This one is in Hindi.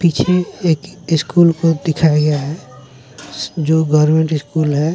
पीछे एक स्कूल को दिखाया गया है जो गवर्नमेंट स्कूल है।